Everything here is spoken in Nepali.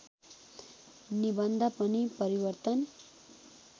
निबन्ध पनि परिवर्तन